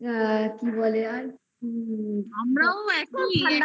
আমরাও একই একই